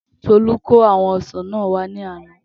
Tolú kó àwọn ọsàn náà wa ní àná